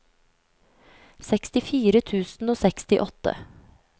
sekstifire tusen og sekstiåtte